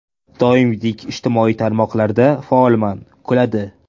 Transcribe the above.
Doimgidek ijtimoiy tarmoqlarda faolman (kuladi).